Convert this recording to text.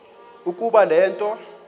ukuba le nto